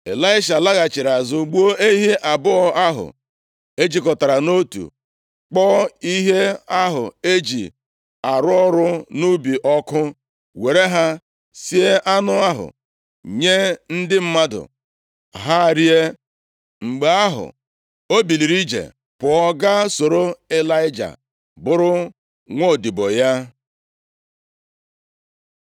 Ịlaisha laghachiri azụ, gbuo ehi abụọ ahụ e jikọtara nʼotu, kpọọ ihe ahụ e ji arụ ọrụ nʼubi ọkụ, were ha sie anụ ahụ nye ndị mmadụ, ha rie. Mgbe ahụ, o biliri ije pụọ ga soro Ịlaịja, bụrụ nwaodibo ya.